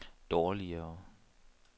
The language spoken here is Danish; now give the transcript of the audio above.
dårligere